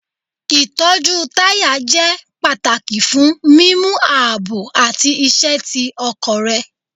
Itọju taya jẹ pataki fun mimu aabo ati iṣẹ ti ọkọ rẹ